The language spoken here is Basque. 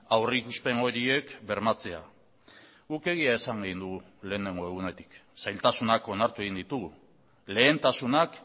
aurrikuspen horiek bermatzea guk egia esan dugu lehenengo egunetik zailtasunak onartu egin ditugu lehentasunak